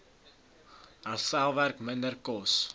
herstelwerk minder kos